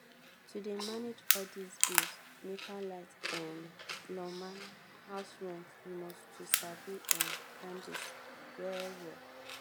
to dey manage all dis bills nepa light um lawma house rent you must to sabi um plan tins well-well.